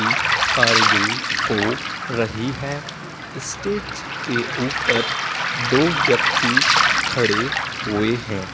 ही कारीगिरी हो रही है। स्टेज के ऊपर दो व्यक्ति खड़े हुए हैं।